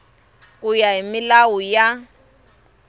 ku ya hi milawu ya